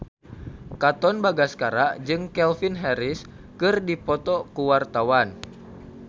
Katon Bagaskara jeung Calvin Harris keur dipoto ku wartawan